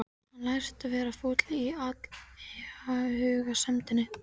Hann læst vera fúll yfir athugasemdinni.